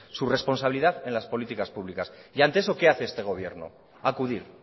su responsabilidad en las políticas públicas y ante eso qué hace este gobierno acudir